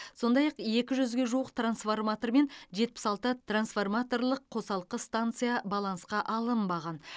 сондай ақ екі жүзге жуық трансформатор мен жетпіс алты трансформаторлық қосалқы станция балансқа алынбаған